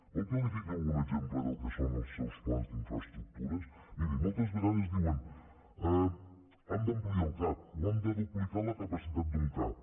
vol que li fiqui algun exemple del que són els seus plans d’infraestructures miri moltes vegades diuen hem d’ampliar el cap o hem de duplicar la capacitat d’un cap